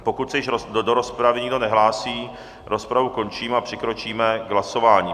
Pokud se již do rozpravy nikdo nehlásí, rozpravu končím a přikročíme k hlasování.